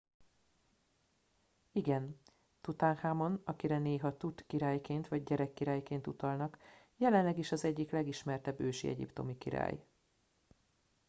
igen! tutanhamon akire néha tut király”-ként vagy gyerekkirály”-ként utalnak jelenleg is az egyik legismertebb ősi egyiptomi király